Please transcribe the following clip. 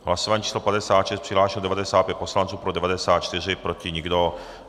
Hlasování číslo 56, přihlášeno 95 poslanců, pro 94, proti nikdo.